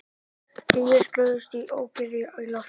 Tugir slösuðust í ókyrrð í lofti